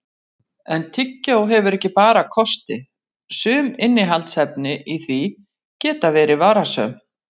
En tyggjó hefur ekki bara kosti, sum innihaldsefni í því geta verið varasöm.